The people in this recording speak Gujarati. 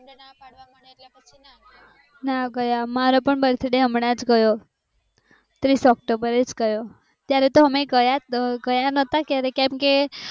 ના ગયા મારા પણ બર્થડે હમણાજ ગયો ત્રીસ ઓકટોબર ગયો ત્યારે અમે ગયા ગયા હતા કે કેમ કે